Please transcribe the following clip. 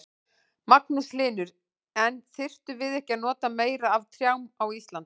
Magnús Hlynur: En þyrftum við ekki að nota meira af trjám á Íslandi?